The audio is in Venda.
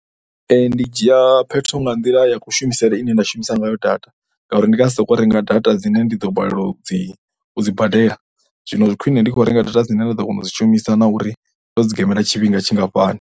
Ndi dzhia phetho nga nḓila ya kushumisele ine nda shumisa ngayo data ngauri ndi nga si sokou renga data dzine ndi ḓo balelwa u dzi, u dzi badela. Zwino zwi khwine ndi kho renga data dzine nda ḓo kona u dzi shumisa na uri ndo gemela tshifhinga tshingafhani.